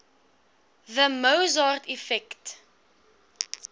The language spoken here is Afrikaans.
the mozart effect